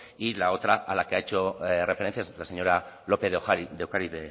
y la otra a la que ha hecho referencia la señora lópez de ocariz